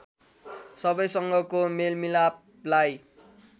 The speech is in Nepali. सबैसँगको मेलमिलापलाई